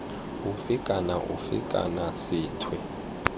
ofe kana ofe kana sethwe